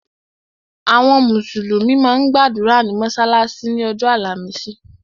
Àwọn mùsùlùmí máa ń gbàdúrà ní mọ́sálásí ni ọjọ́ àlàmísì.